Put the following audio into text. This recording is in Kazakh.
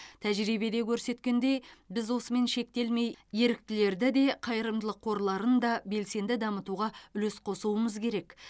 тәжірибеде көрсеткендей біз осымен шектелмей еріктілерді де қайырымдылық қорларын да белсенді дамытуға үлес қосуымыз керек